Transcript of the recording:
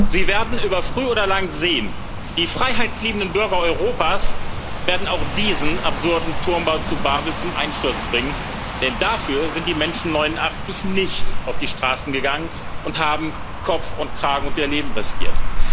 Sie werden über kurz oder lang sehen Die freiheitsliebenden Bürger Europas werden auch diesen absurden Turmbau zu Babel zum Einsturz bringen, denn dafür sind die Menschen 1989 nicht auf die Straßen gegangen und haben Kopf und Kragen und ihr Leben riskiert.